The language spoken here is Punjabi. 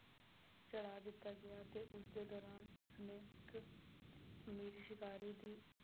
ਦਿੱਤਾ ਗਿਆ ਤੇ ਉਸਦੇ ਦੌਰਾਨ ਉਸਨੇ ਇੱਕ ਸ਼ਿਕਾਰੀ ਦੀ